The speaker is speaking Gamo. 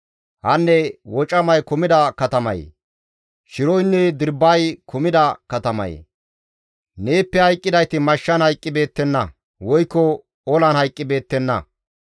Hanne wocamay kumida katamayee! Shiroynne dirbbay kumida katamayee! Neeppe hayqqidayti mashshan hayqqibeettenna; woykko olan hayqqibeettenna.